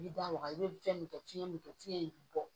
I bi da waga i be fɛn min dɔn fiɲɛ min don fiɲɛ in be bɔ